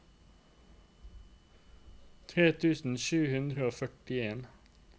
tre tusen sju hundre og førtien